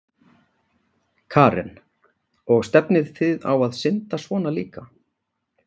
Karen: Og stefnið þið á að synda svona líka?